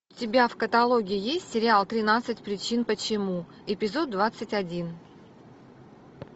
у тебя в каталоге есть сериал тринадцать причин почему эпизод двадцать один